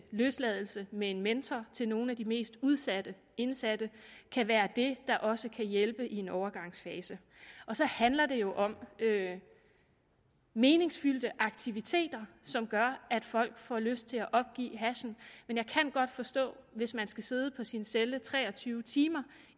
løsladelse med en mentor til nogle af de mest udsatte indsatte kan være det der også kan hjælpe i en overgangsfase og så handler det jo om meningsfyldte aktiviteter som gør at folk får lyst til at opgive hashen men jeg kan godt forstå at hvis man skal sidde i sin celle tre og tyve timer